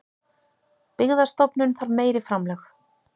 Byggðastofnun þarf meiri framlög